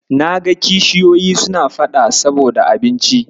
Na ga kishiyoyi suna faɗa saboda abinci.